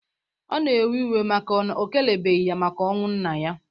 Ọ na-ewe iwe na o kelebeghi ya maka ọnwụ nna ya.